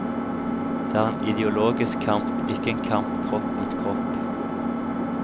Det er en ideologisk kamp, ikke en kamp kropp mot kropp.